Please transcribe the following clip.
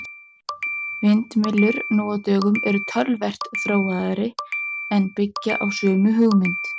Vindmyllur nú á dögum eru töluvert þróaðri en byggja á sömu hugmynd.